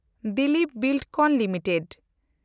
Dilip Buildcon limited